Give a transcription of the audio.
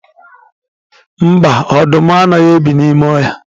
Mba, ọdụm anaghị ebi n'ime ọhịa